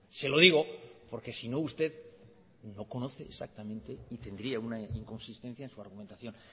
se lo digo porque sino usted no conoce exactamente y tendría una inconsistencia en su argumentación